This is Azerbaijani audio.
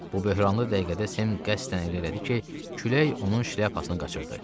Bu böhranlı dəqiqədə Sem qəsdən elə elədi ki, külək onun şlyapasını qaçırtdı.